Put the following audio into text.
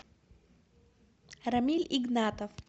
рамиль игнатов